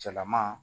Cɛlaman